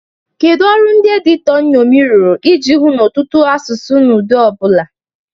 Kedu ọrụ ndị editọ nnomi rụrụ iji hụ na ụtọ ụtọ asụsụ na ụdị ọ bụla?